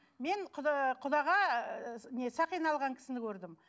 мен құдаға ы не сақина алған кісіні көрдім